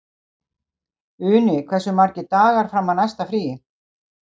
Uni, hversu margir dagar fram að næsta fríi?